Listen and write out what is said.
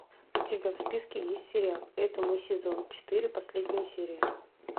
у тебя в списке есть сериал это мы сезон четыре последняя серия